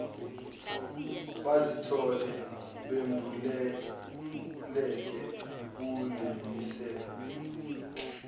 bazithole bembuleleke kulemisebe